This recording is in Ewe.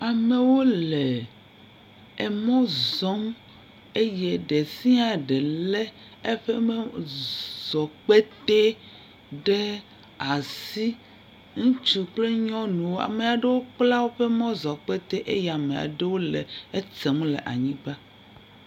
Amewo le mɔ zɔm eye ɖe sia ɖe lé eƒe mɔzɔkpetɛ ɖe asi. Ŋutsu kple nyɔnuwo, ame aɖewo kpla woƒe mɔzɔ̃kpetɛ eye ame aɖewo le etem le anyigba.